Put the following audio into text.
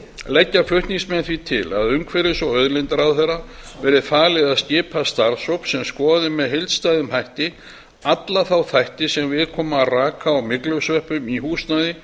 leggja flutningsmenn því til að umhverfis og auðlindaráðherra verði falið að skipa starfshóp sem skoði með heildstæðum hætti alla þá þætti sem við koma raka og myglusveppum